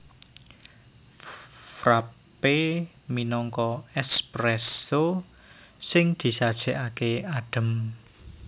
Frappé minangka espresso sing disajèkaké adhem